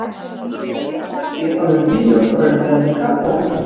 Hvergi eru eins skörp skil á milli bíós og veruleika og á Íslandi.